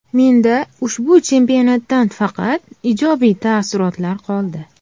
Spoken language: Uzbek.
Menda ushbu chempionatdan faqat ijobiy taassurotlar qoldi”.